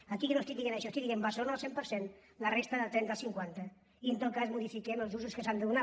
aquí jo no estic dient això estic dient barcelona el cent per cent la resta del trenta al cinquanta i en tot cas modifiquem els usos que s’hi ha de donar